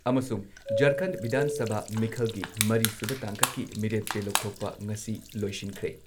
ꯑꯃꯁꯨꯡ ꯖꯔꯈꯟ ꯕꯤꯙꯥꯟ ꯁꯚꯥ ꯃꯤꯈꯜꯒꯤ ꯃꯔꯤ ꯁꯨꯕ ꯇꯥꯡꯀꯛꯀꯤ ꯃꯤꯔꯦꯞ ꯆꯦ ꯂꯧꯊꯣꯛꯄ ꯉꯁꯤ ꯂꯣꯏꯁꯤꯟꯈ꯭ꯔꯦ ꯫